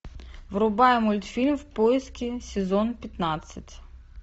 врубай мультфильм в поиске сезон пятнадцать